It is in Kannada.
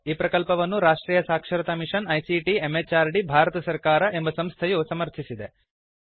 ಈ ಪ್ರಕಲ್ಪವನ್ನು ರಾಷ್ಟ್ರಿಯ ಸಾಕ್ಷರತಾ ಮಿಶನ್ ಐಸಿಟಿ ಎಂಎಚಆರ್ಡಿ ಭಾರತ ಸರ್ಕಾರ ಎಂಬ ಸಂಸ್ಥೆಯು ಸಮರ್ಥಿಸಿದೆ